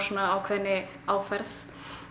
ákveðinni aðferð